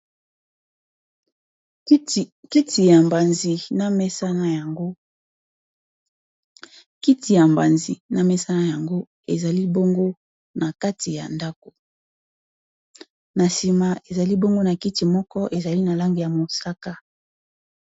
kiti ya molai na mesa na yango eza na kati ya ndako na sima ezali bongo na kiti moko ezali na langi ya mosaka